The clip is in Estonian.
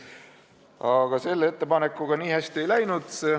Aga selle ettepanekuga nii hästi ei läinud.